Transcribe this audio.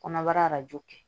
Kɔnɔbara arajo kɛ